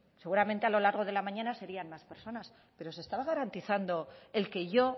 seguramente a lo largo de la mañana serían más personas pero se estaba garantizando el que yo